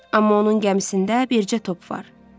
Amma onun gəmisində bircə top var.